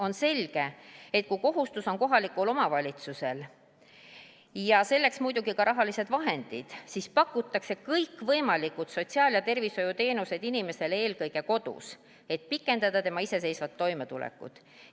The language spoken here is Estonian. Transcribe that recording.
On selge, et kui kohustus on kohalikul omavalitsusel ja selleks muidugi on ka rahalised vahendid, siis pakutakse kõikvõimalikke sotsiaal- ja tervishoiuteenuseid inimesele eelkõige kodus, et pikendada tema iseseisvat toimetulekut.